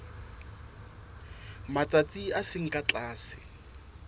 matsatsi a seng ka tlase